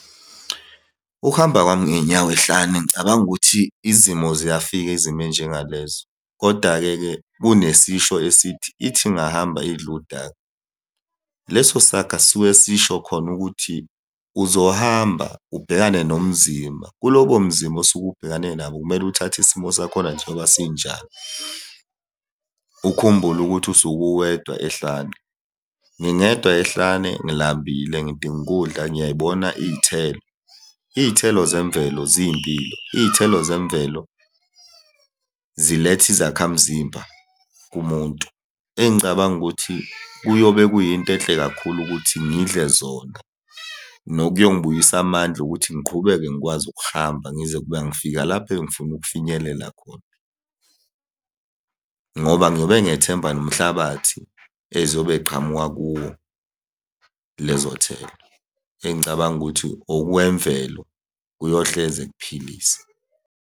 Ukuhamba kwami ngey'nyawo ehlane ngicabanga ukuthi izimo ziyafika izimo ey'njengalezo, koda-ke ke kunesisho esithi, ithi ingahamba idle udaka. Leso saga sisuke sisho khona ukuthi, uzohamba ubhekane nobunzima, kulobo bunzima osuke ubhekane nabo kumele uthathe isimo sakhona njengoba sinjalo. Ukhumbule ukuthi usuke uwedwa ehlane. Ngingedwa ehlane ngilambile, ngidinga ukudla, ngiyay'bona iy'thelo. Iy'thelo zemvelo ziyimpilo, iy'thelo zemvelo ziletha izakhamzimba kumuntu. Engicabanga ukuthi kuyobe kuyinto enhle kakhulu ukuthi ngidle zona, nokuyongibuyisa amandla ukuthi ngiqhubeke ngikwazi ukuhamba, ngize ukuba ngifika lapho ebengifuna ukufinyelela khona, ngoba ngiyobe ngethemba nomhlabathi eyiziyobe ziqhamuka kuwo lezo thelo. Engicabanga ukuthi okwemvelo kuyohleze kuphilisa.